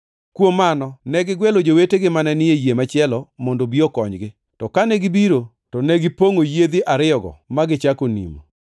Kuom mano, ne gigwelo jowetegi mane ni e yie machielo mondo obi okonygi, to kane gibiro to negipongʼo yiedhi ariyogo ma gichako nimo.